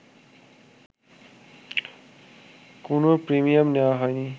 কোনো প্রিমিয়াম নেয়া হয়নি